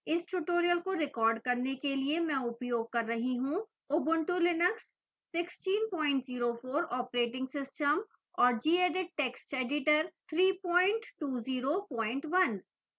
इस tutorial को record करने के लिए मैं उपयोग कर रही हूँ ubuntu linux 1604 operating system और gedit text editor 3201